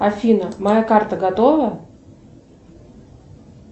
афина моя карта готова